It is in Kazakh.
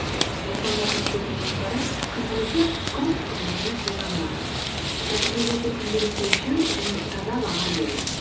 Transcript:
жасалынатын істердің жоспары күнделікті компас қызметінде қолданылады нәтижелерді күнделікті өлшеу және таза баға беру